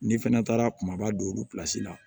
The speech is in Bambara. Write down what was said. N'i fɛnɛ taara kumaba don olu pilasi la